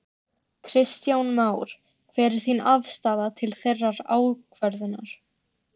Kristján Már: Hver er þín afstaða til þeirrar ákvörðunar?